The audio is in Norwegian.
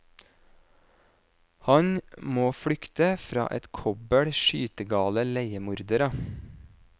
Han må flykte fra et kobbel skytegale leiemordere.